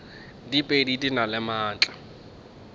diphedi di na le maatla